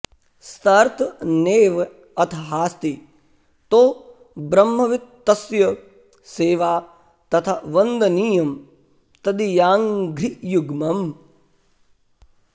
start नेव् अथहास्ति तो ब्रह्मवित् तस्य सेवा तथा वन्दनीयं तदीयाङ्घ्रियुग्मम्